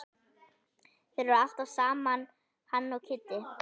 Þeir eru alltaf saman hann og Kiddi.